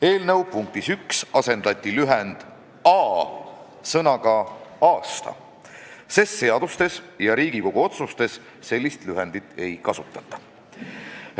Eelnõu punktis 1 asendati lühend "a" sõnaga "aasta", sest seadustes ja Riigikogu otsustes sellist lühendit ei kasutata.